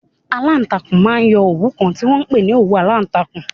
Aláàtakùn máa ń yọ okùn kan tí wọ́n ń pè ní òwú aláǹtakùn.